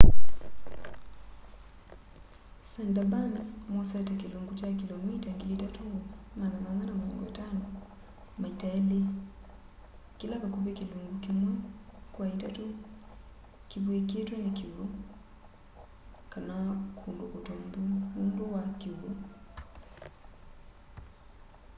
sundarbans mosete kĩlungu kya kĩlomita 3,850 maita elĩ kĩla vakuvĩ kĩlungu kĩmwe kwa itatũ kĩvw'ĩkĩtwe nĩ kĩw'ũ/kũndũ kũtombu nũndũ wa kĩw'ũ